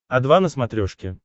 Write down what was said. о два на смотрешке